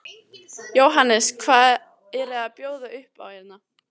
Jóhannes: Hvað eru að bjóða upp á hérna?